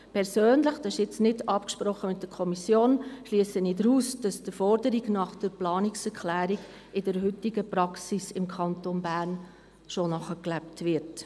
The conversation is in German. Persönlich – das ist nicht mit der Kommission abgesprochen – schliesse ich daraus, dass die Forderung der Planungserklärung in der heutigen Praxis im Kanton Bern bereits gelebt wird.